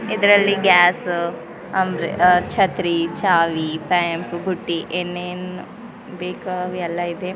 ಇದ್ರಲ್ಲಿ gas umbrella ಛತ್ರಿ ಚಾವಿ ಪೆಂಪು ಬುತ್ತಿ ಏನೇನ್ ಬೇಕಾ ಅವೆಲ್ಲ ಇದೆ.